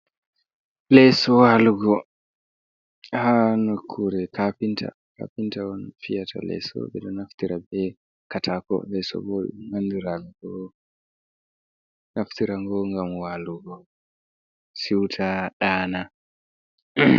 Leeso waalugo haa nokkuure kaafinta, kaafinta on fiyatata leeso ɓe ɗo naftira bee kataako. Leeso boo "nandiraango" boo naftira ngoo ngam waalugo, siwta, ɗaana.